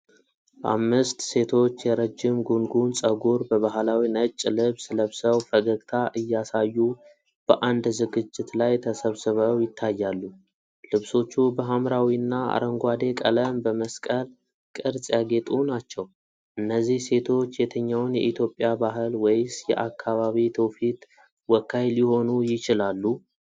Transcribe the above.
አምስት ሴቶች የረጅም ጉንጉን ፀጉር በባህላዊ ነጭ ልብስ ለብሰው ፈገግታ እያሳዩ በአንድ ዝግጅት ላይ ተሰብስበው ይታያሉ። ልብሶቹ በሐምራዊና አረንጓዴ ቀለም በመስቀል ቅርጽ ያጌጡ ናቸው። እነዚህ ሴቶች የትኛውን የኢትዮጵያ ባህል ወይስ የአካባቢ ትውፊት ወካይ ሊሆኑ ይችላሉ?